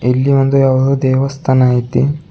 ಇಲ್ಲಿ ಒಂದು ಯಾವುದೋ ದೇವಸ್ಥಾನ ಐತಿ.